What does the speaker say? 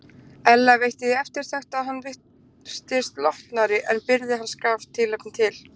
Ella veitti því eftirtekt að hann virtist lotnari en byrði hans gaf tilefni til.